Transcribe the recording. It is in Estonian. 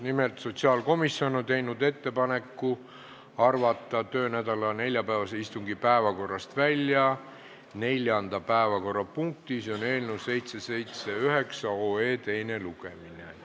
Nimelt, sotsiaalkomisjon on teinud ettepaneku arvata töönädala neljapäevase istungi päevakorrast välja 4. punkt, eelnõu 779 teine lugemine.